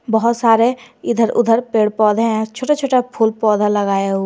बहोत सारे इधर उधर पेड़ पौधे हैं छोटा छोटा फूल पौधा लगाया हुआ--